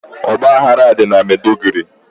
ọgbaghara dị na Meduguri.